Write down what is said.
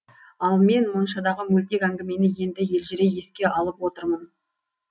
ал мен моншадағы мөлтек әңгімені енді елжірей еске алып отырмын